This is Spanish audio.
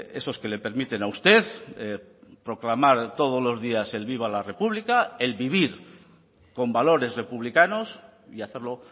esos que le permiten a usted proclamar todos los días el viva la república el vivir con valores republicanos y hacerlo